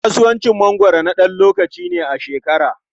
Kasuwacin mangwaro na ɗan lokaci ne a shekara.